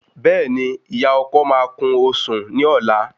Béèni ìyá ọkọ máa kún osùn ní ọlá